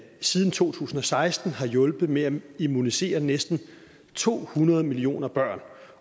siden to tusind og seksten har hjulpet med at immunisere næsten to hundrede millioner børn